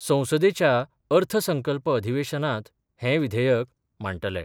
संसदेच्या अर्थसंकल्प अधिवेशनांत हे विधेयक मांडटले.